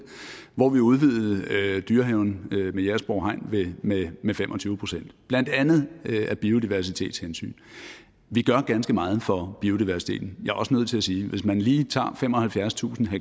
hvor vi udvidede dyrehaven ved jægersborg hegn med med fem og tyve procent blandt andet af biodiversitetshensyn vi gør ganske meget for biodiversiteten jeg er også nødt til at sige at hvis man lige tager femoghalvfjerdstusind